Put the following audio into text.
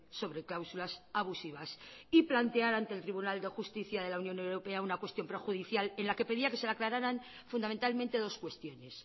sobre cláusulas abusivas y planteara ante el tribunal de justicia de la unión europea una cuestión prejudicial en la que pedía que se le aclararan fundamentalmente dos cuestiones